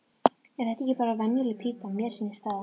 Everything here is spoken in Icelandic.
Er þetta ekki bara venjuleg pípa, mér sýnist það.